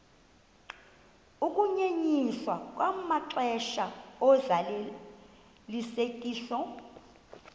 ukunyenyiswa kwamaxesha ozalisekiso